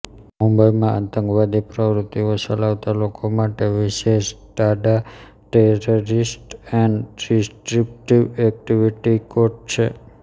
મુંબઈમાં આતંકવાદી પ્રવતિઓ ચલાવતા લોકો માટે વિશેષ ટાડાટેરરીસ્ટ એન્ડ ડિસ્રપ્ટિવ એક્ટીવીટીકોર્ટ છે